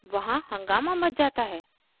वहाँ हंगामा मच जाता है